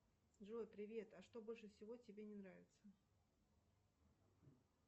джой привет а что больше всего тебе не нравится